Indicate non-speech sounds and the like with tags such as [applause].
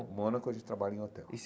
Em Mônaco a gente trabalha em hotel. [unintelligible]